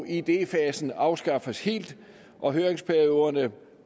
idéfasen afskaffes helt og høringsperioden